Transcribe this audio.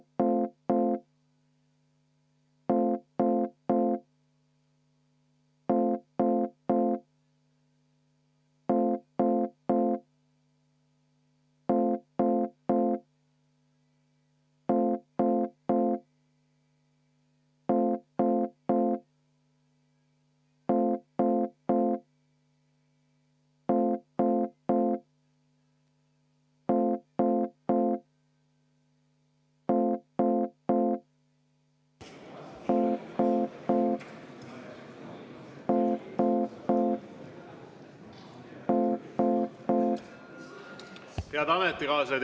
Head ametikaaslased!